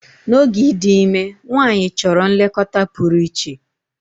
N'oge ịdị ime, nwanyị chọrọ nlekọta pụrụ iche.